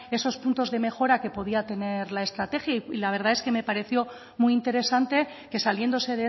esos puntos de mejora que podría tener la estrategia y la verdad es que me pareció muy interesante que saliéndose